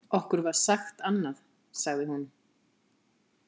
Okkur var sagt annað, sagði hún.